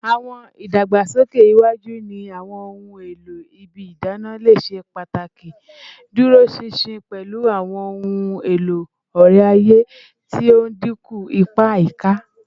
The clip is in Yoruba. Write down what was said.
Awọn idagbasoke iwaju ni awọn ohun elo ibi idana le ṣe pataki iduroṣinṣin, pẹlu awọn ohun elo ore-aye ti o dinku ipa ayika